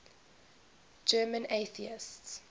german atheists